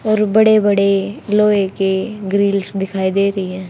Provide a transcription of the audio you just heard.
और बड़े बड़े लोहे के ग्रिल्स दिखाई दे रही है।